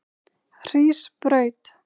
Hrísbraut